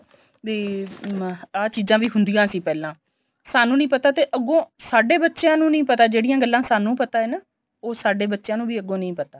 B ਅਹ ਆ ਚੀਜ਼ਾਂ ਵੀ ਹੁੰਦੀਆਂ ਸੀ ਪਹਿਲਾਂ ਸਾਨੂੰ ਨੀਂ ਪਤਾ ਤੇ ਅੱਗੋ ਸਾਡੇ ਬੱਚਿਆਂ ਨੂੰ ਨੀਂ ਪਤਾ ਜਿਹੜੀਆਂ ਗੱਲਾ ਸਾਨੂੰ ਪਤਾ ਏ ਨਾ ਉਹ ਸਾਡੇ ਬੱਚਿਆਂ ਨੂੰ ਵੀ ਅੱਗੋ ਨਹੀਂ ਪਤਾ